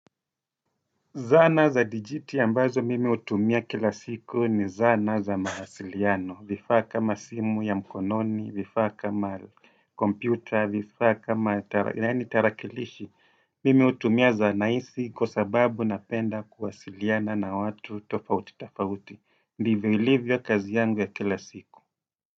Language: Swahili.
Zana za dijiti ambazo mimi hutumia kila siku ni zana za mawasiliano, vifaa kama simu ya mkononi, vifaa kama kompyuta, vifaa kama tarakilishi, mimi hutumia zana isi kwa sababu napenda kuwasiliana na watu tofauti tofauti, ndivyo ilivyo kazi yangu ya kila siku.